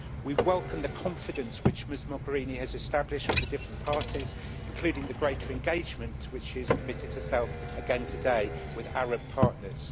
We welcome the confidence which Ms Mogherini has established with the different parties, including the greater engagement to which she has committed herself again today with the Arab partners.